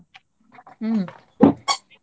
ಹ್ಮ್ .